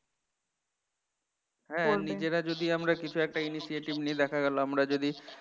নিজেরা যদি আমরা কিছু একটা initiative নেই দেখা গেল আমরা যদি